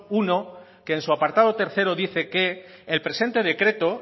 uno que en su apartado tercero dice que el presente decreto